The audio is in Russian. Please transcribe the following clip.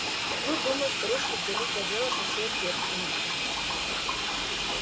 ну думаю старушки взялись за дело со всей ответственностью